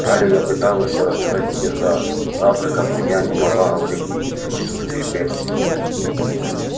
гарри я пыталась всё рассказать тебе за завтраком но я не могла говорить и в присутствии перси